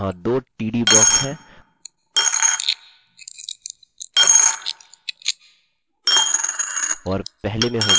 फिर हमारे पास दो कॉलम्स है अतः यहाँ दो td ब्लॉक्स हैं और पहले में होगा your fullname